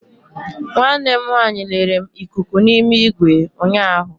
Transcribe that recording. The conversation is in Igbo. Nwanne m nwanyị lere m ikuku n'ime igwe ụnyaahụ.